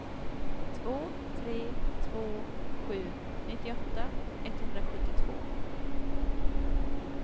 två tre två sju nittioåtta etthundrasjuttiotvå